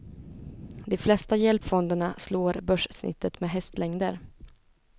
De flesta hjälpfonderna slår börssnittet med hästlängder.